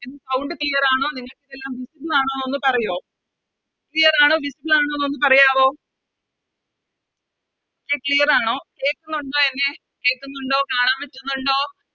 Sound clear ആണോ നിങ്ങൾക്കെല്ലാം Visible ആണോന്ന് ഒന്ന് പറയോ Clear ആണോ Visible ആണോ എന്ന് പറയാവോ Okay clear ആണോ കേക്കുന്നുണ്ടോ എന്നെ കേക്കുന്നുണ്ടോ കാണാൻ പറ്റുന്നുണ്ടോ